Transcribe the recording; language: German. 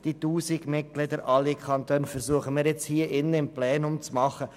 Was die rund 1000 Mitglieder sowie alle Kantone versuchen, versuchen wir hier im Plenum zu tun.